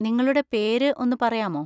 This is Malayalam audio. നിങ്ങളുടെ പേര് ഒന്ന് പറയാമോ?